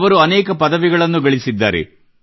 ಅವರು ಅನೇಕ ಪದವಿಗಳನ್ನು ಗಳಿಸಿದ್ದಾರೆ